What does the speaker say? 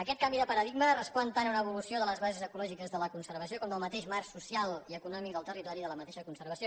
aquest canvi de paradigma respon tant a una evolució de les bases ecològiques de la conservació com del mateix marc social i econòmic del territori de la mateixa conservació